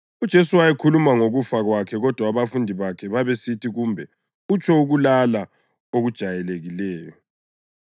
UJesu wayekhuluma ngokufa kwakhe kodwa abafundi bakhe babesithi kumbe utsho ukulala okujayelekileyo.